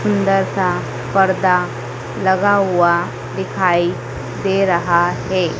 सुंदर सा पर्दा लगा हुआ दिखाई दे रहा है।